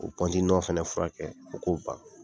U o fɛnɛ fura kɛ fo k'o ban.